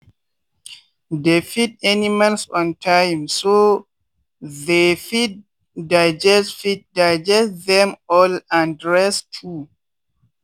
dey feed animals on timeso they fit digest fit digest them well and rest too.